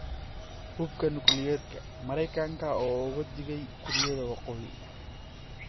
Hubka Nukliyeerka: Mareykanka oo uga digay Kuuriyada Waqooyi